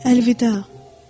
Əlvida!